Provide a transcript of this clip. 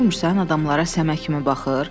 Görmürsən adamlara səmə kimi baxır?